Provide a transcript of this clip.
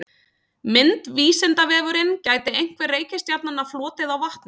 Mynd Vísindavefurinn- Gæti einhver reikistjarnanna flotið á vatni?.